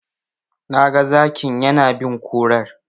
Na ga Zakin yana bin kurar.